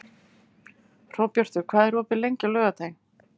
Hróbjartur, hvað er opið lengi á laugardaginn?